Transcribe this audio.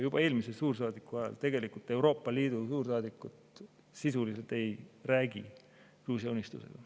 Juba eelmise suursaadiku ajal tegelikult Euroopa Liidu suursaadikud sisuliselt ei rääkinud Gruusia Unistusega.